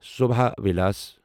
ثوبھا وِلاس